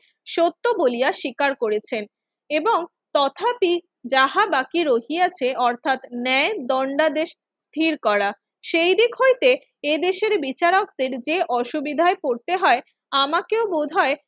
সত্য বলিয়া স্বীকার করেছেন এবং তথাপি যাহা বাকি রহিয়াছে অর্থাৎ ন্যায় দণ্ডাদেশ স্থির করা। সেইদিক হইতে এদেশের বিচারকদের যে অসুবিধায় পড়তে হয় আমাকেও বোধহয়